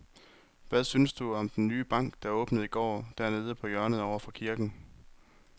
Hvad synes du om den nye bank, der åbnede i går dernede på hjørnet over for kirken?